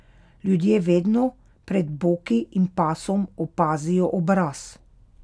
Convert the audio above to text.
Ljudje vedno pred boki in pasom opazijo obraz.